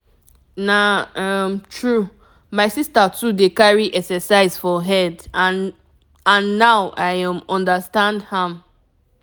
na um true my sister too dey carry exercise for head and and now i um understand am.